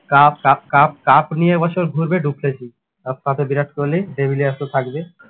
cup cup cup cup নিয়ে এ বছর ঘুরবে ডুপ্লেছি আর থাকলে বিরাট কোহলি ডিভিলিয়ার্স তো থাকবে।